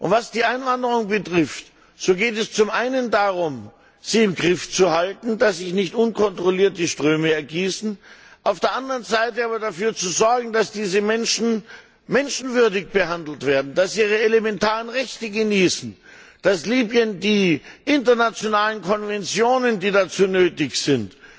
Was die Einwanderung betrifft, so geht es zum einen darum, sie im Griff zu halten, damit sich nicht unkontrollierte Ströme ergießen, auf der anderen Seite aber dafür zu sorgen, dass diese Menschen menschenwürdig behandelt werden, dass sie ihre elementaren Rechte genießen, dass Libyen die internationalen Konventionen, die dazu nötig sind,